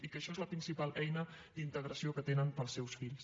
i això és la principal eina d’integració que tenen per als seus fills